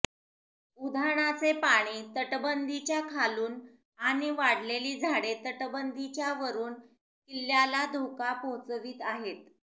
उधाणाचे पाणी तटबंदीच्या खालून आणि वाढलेली झाडे तटबंदीच्या वरून किल्ल्याला धोका पोहोचवित आहेत